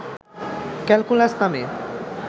calculus নামে